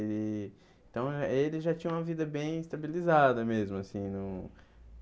E então, ele já tinha uma vida bem estabilizada mesmo assim no.